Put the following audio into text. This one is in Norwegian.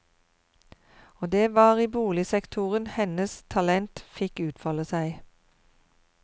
Og det var i boligsektoren hennes talent fikk utfolde seg.